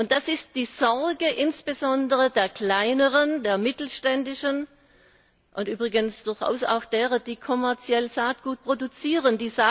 Das ist die Sorge insbesondere der Kleineren, der Mittelständischen und übrigens durchaus auch derer, die kommerziell Saatgut produzieren.